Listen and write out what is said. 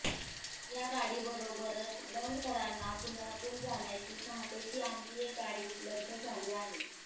या गाडीबरोबरच दौंडकरांना पुण्यातून जाण्यासाठी पहाटेची आणखी एक गाडी उपलब्ध झाली आहे